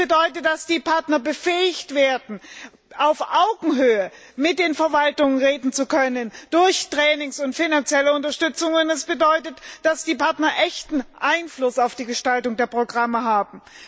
Das bedeutet, dass die Partner befähigt werden, auf Augenhöhe mit den Verwaltungen zu reden, durch Ausbildungsmaßnahmen und finanzielle Unterstützungen, es bedeutet, dass die Partner echten Einfluss auf die Gestaltung der Programme haben.